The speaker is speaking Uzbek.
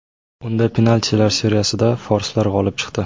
Unda penaltilar seriyasida forslar g‘olib chiqdi.